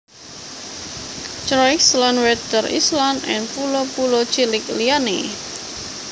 Croix lan Water Island lan pulo pulo cilik liyané